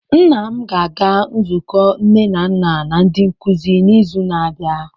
Nna m ga-aga nzukọ nne na nna na ndi nkuzi n'izu na-abịa.